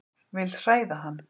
Vil hræða hann.